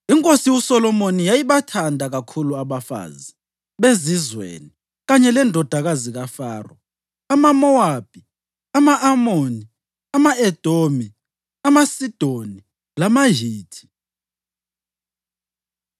Inkosi uSolomoni yayibathanda kakhulu abafazi bezizweni kanye lendodakazi kaFaro, amaMowabi, ama-Amoni, ama-Edomi, amaSidoni lamaHithi.